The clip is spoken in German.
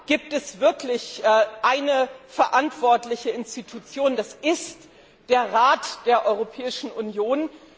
gibt es wirklich eine verantwortliche Institution, das ist der Rat der Europäischen Union.